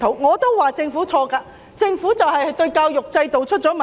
我也說政府有錯，令整個教育制度出了問題。